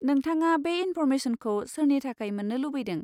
नोंथाङा बे इन्फ'र्मेशनखौ सोरनि थाखाय मोन्नो लुबैदों?